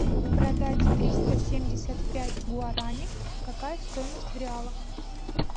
продать триста семьдесят пять гуарани какая стоимость в реалах